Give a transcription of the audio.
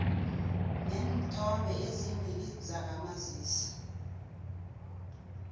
neenthombe ezimbili zakamazisi